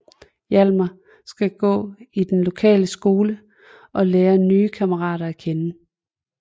Hjalmar skal gå i den lokale skole og lære nye kammerater at kende